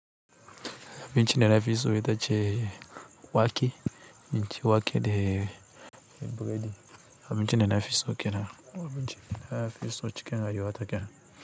Abincin danafi so ita ce wake, abinci wake de buredi, abinci danafi so kenan, abinci danafi so cikin rayuwata kena.